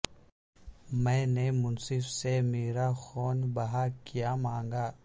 میں نے منصف سے مرا خون بہا کیا مانگا